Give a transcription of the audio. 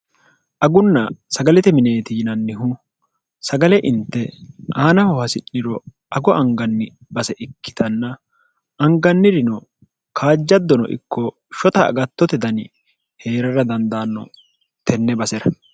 agunna sagalete mineeti yinannihu sagale inte aanaho hasi'niro ago anganni base ikkitanna angannirino kaajjaddono ikko shota agattote dani hee'rara dandaanno tenne base'ra